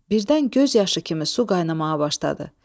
Birdən göz yaşı kimi su qaynmağa başladı.